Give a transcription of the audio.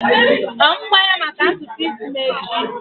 Ọ mụ gwa ya maka ntutu isi m echi?